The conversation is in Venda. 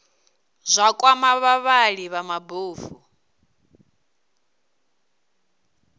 zwa kwama vhavhali vha mabofu